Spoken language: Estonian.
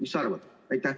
Mis sa arvad?